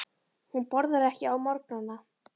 Hún borðar ekki á morgnana.